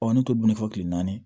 ne t'o dun fɔ kile naani